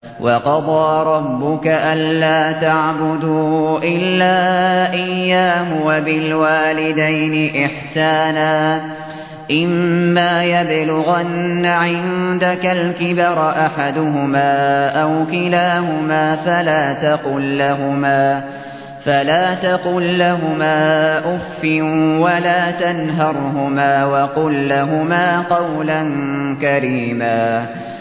۞ وَقَضَىٰ رَبُّكَ أَلَّا تَعْبُدُوا إِلَّا إِيَّاهُ وَبِالْوَالِدَيْنِ إِحْسَانًا ۚ إِمَّا يَبْلُغَنَّ عِندَكَ الْكِبَرَ أَحَدُهُمَا أَوْ كِلَاهُمَا فَلَا تَقُل لَّهُمَا أُفٍّ وَلَا تَنْهَرْهُمَا وَقُل لَّهُمَا قَوْلًا كَرِيمًا